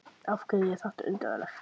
Af hverju er þetta undarlegt?